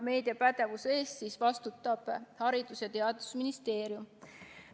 Meediapädevuse eest vastutab Haridus- ja Teadusministeerium.